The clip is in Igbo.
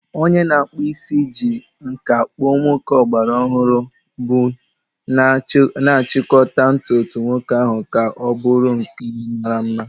Onye na-akpụ isi ji nkà kpụọ nwoke ọgbara ọhụrụ bun, na-achịkọta ntutu nwoke ahụ ka ọ bụrụ nke mara mma.